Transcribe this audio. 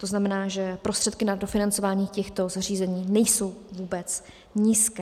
To znamená, že prostředky na dofinancování těchto zařízení nejsou vůbec nízké.